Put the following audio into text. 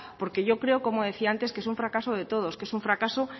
porque yo creo como decía antes que es un fracaso de todos que es fracaso